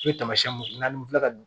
U ye tamasiyɛnw n'an filɛ ka